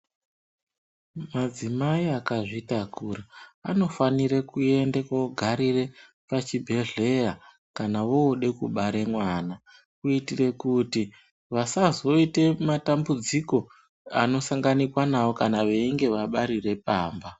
Madzimai akazvitakura anofanire kuende koogarire pachibhedhleya kana voode kubare mwana. Kuitire kuti vasazoite matambudziko anosanganikwa nawo kana veinge vabarire pamba.